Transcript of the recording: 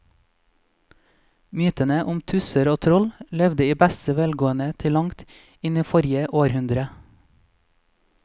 Mytene om tusser og troll levde i beste velgående til langt inn i forrige århundre.